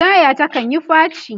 taya ta kanyi faci